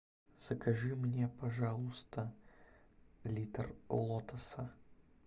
закажи мне пожалуйста литр лотоса